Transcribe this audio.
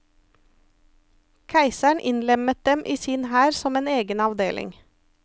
Keiseren innlemmet dem i sin hær som en egen avdeling.